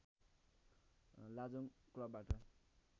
लाजोङ क्लबबाट